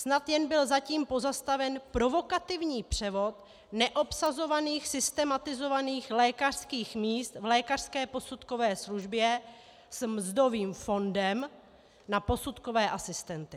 Snad jen byl zatím pozastaven provokativní převod neobsazovaných systemizovaných lékařských míst v lékařské posudkové službě s mzdovým fondem na posudkové asistenty.